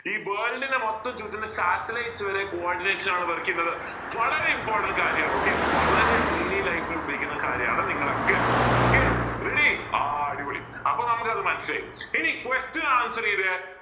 ഈ world ന മൊത്തം ചുറ്റുന്ന satelites വരെ coordinates ആണ് വളരെ important കാര്യണ് okay വളരെ daily life ൽ ഉപയോഗിക്കുന്ന കാര്യമാണ് നിങ്ങളൊക്കെ okay ready ആഹ് അടിപൊളി അപ്പോൾ നമുക്ക് അത് മനസ്സിലായി ഇനി question answer ചെയ്തേ